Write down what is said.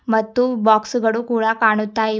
ಮತ್ತು ಬಾಕ್ಸ್ ಗಳು ಕೂಡ ಕಾಣುತ್ತಿವೆ.